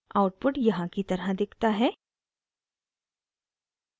output यहाँ की तरह दिखता है